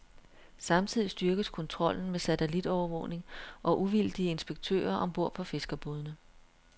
Samtidig styrkes kontrollen med satellitovervågning og uvildige inspektører om bord på fiskerbådene.